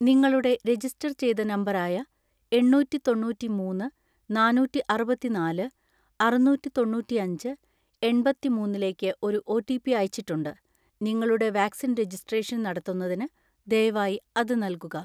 നിങ്ങളുടെ രജിസ്‌റ്റർ ചെയ്‌ത നമ്പറായ എണ്ണൂറ്റിതൊണ്ണൂറ്റിമൂന്ന് നാന്നൂറ്റിഅറുപതിനാല് അറുന്നൂറ്റിതൊണ്ണൂറ്റിഅഞ്ച് എൺപത്തിമൂന്നിലേക്ക് ഒരു ഒ.റ്റി.പി അയച്ചിട്ടുണ്ട്. നിങ്ങളുടെ വാക്‌സിൻ രജിസ്‌ട്രേഷൻ നടത്തുന്നതിന് ദയവായി അത് നൽകുക